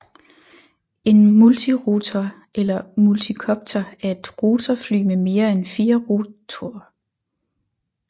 En multirotor eller multikopter er et rotorfly med mere end fire rotorer